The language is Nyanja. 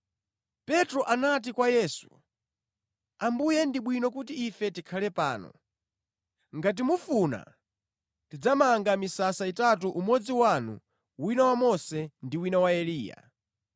Petro anati kwa Yesu, “Ambuye ndi bwino kuti ife tikhale pano. Ngati mufuna ndidzamanga misasa itatu umodzi wanu, wina wa Mose ndi wina wa Eliya.”